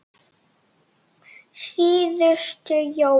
Síðustu jólin.